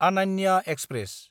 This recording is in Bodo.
आनानया एक्सप्रेस